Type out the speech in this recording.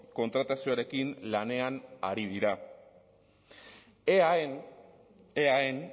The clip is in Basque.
kontratazioarekin lanean ari dira eaen eaen